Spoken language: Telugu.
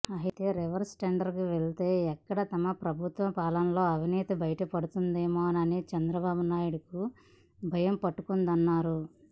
అయితే రివర్స్ టెండరింగ్కు వెళితే ఎక్కడ తమ ప్రభుత్వ పాలనలోని అవినీతి బయటపడిపోతుందేమోనని చంద్రబాబునాయుడుకు భయం పట్టుకుందన్నారు